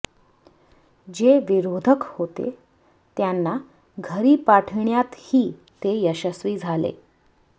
जे विरोधक होते त्यांना घरी पाठविण्यातही ते यशस्वी झाले